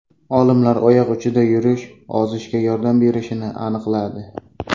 Olimlar oyoq uchida yurish ozishga yordam berishini aniqladi.